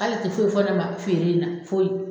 K'ale ti foyi fɔ ne ma feere in na foyi